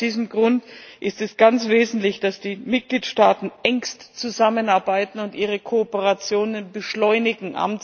Aus diesem Grund ist es ganz wesentlich, dass die Mitgliedstaaten engstens zusammenarbeiten und ihre Kooperationen beschleunigen.